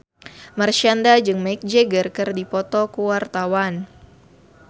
Marshanda jeung Mick Jagger keur dipoto ku wartawan